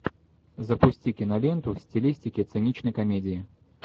запусти киноленту в стилистике циничной комедии